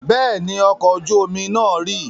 Bẹ́ẹ̀ ni, ọkọ̀ ojú-omi náà rì.